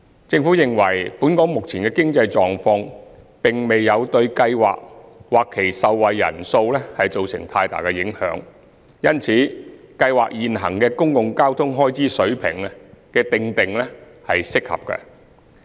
政府認為，本港目前的經濟狀況並未對計劃或其受惠人數造成太大影響，因此計劃現行的公共交通開支水平的訂定是適合的。